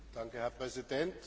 Herr Präsident!